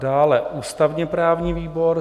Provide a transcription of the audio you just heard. Dále ústavně-právní výbor.